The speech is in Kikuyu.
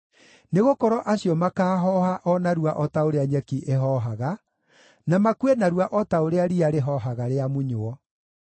nĩgũkorwo acio makaahooha o narua o ta ũrĩa nyeki ĩhoohaga, na makue narua o ta ũrĩa riya rĩhoohaga rĩamunywo.